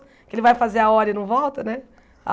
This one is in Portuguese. Porque ele vai fazer a hora e não volta, né?